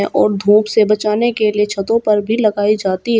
और धूप से बचाने के लिए छतों पर भी लगाई जाती है।